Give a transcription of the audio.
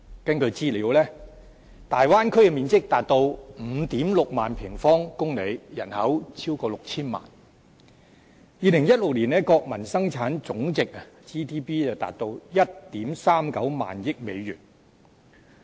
根據資料，大灣區的面積達到 56,000 平方公里，人口超過 6,000 萬 ；2016 年的國民生產總值達到 13,900 億美元。